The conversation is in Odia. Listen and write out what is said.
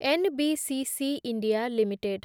NBCC India limited